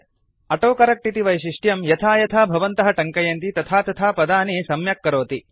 autocorrect इति वैशिष्ट्यं यथा यथा भवन्तः टङ्कयन्ति तथा तथा पदानि सम्यक् करोति